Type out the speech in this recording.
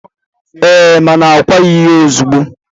Eee, mana a kwaghị ya ozigbo